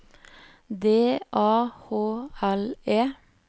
D A H L E